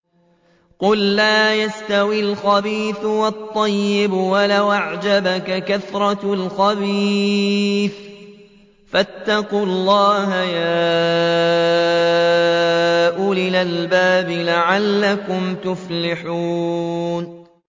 قُل لَّا يَسْتَوِي الْخَبِيثُ وَالطَّيِّبُ وَلَوْ أَعْجَبَكَ كَثْرَةُ الْخَبِيثِ ۚ فَاتَّقُوا اللَّهَ يَا أُولِي الْأَلْبَابِ لَعَلَّكُمْ تُفْلِحُونَ